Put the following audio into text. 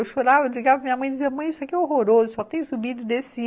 Eu chorava, ligava para minha mãe e dizia, mãe, isso aqui é horroroso, só tem subida e desci